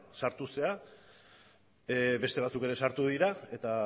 sartu zara beste batzuk ere sartu dira eta